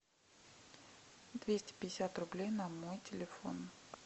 двести пятьдесят рублей на мой телефон